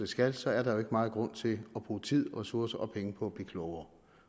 skal så er der jo ikke meget grund til at bruge tid ressourcer og penge på at blive klogere